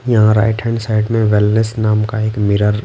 यहाँ right hand side में wellness नाम का एक मिरर --